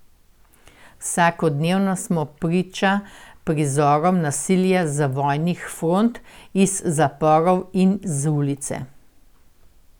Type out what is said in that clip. Vsakodnevno smo priča prizorom nasilja z vojnih front, iz zaporov in z ulice.